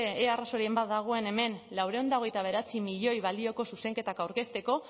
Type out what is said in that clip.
ea arrazoiren bat dagoen hemen laurehun eta hogeita bederatzi milioi balioko zuzenketak aurkezteko